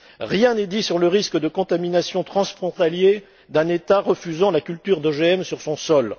Rien n'est dit sur le risque de contamination transfrontalière d'un État refusant la culture d'OGM sur son sol.